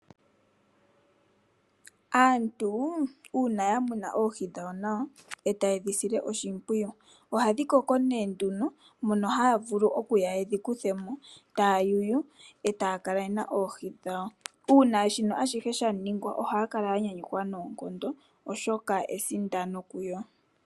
Aantu uuna ya muna oohi dhawo nawa etaye dhi sile oshimpwiyu, ohadhi koko nee nduno mono haya vulu okuya yedhi kuthemo taya yuyu etaya kala yena oohi dhawo. Uuna ashihe shino sha ningwa ohaya kala ya nyanyukwa noonkondo oshoka esindano kuyo.